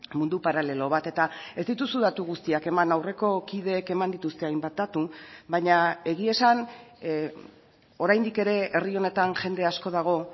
mundu paralelo bat eta ez dituzu datu guztiak eman aurreko kideek eman dituzte hainbat datu baina egia esan oraindik ere herri honetan jende asko dago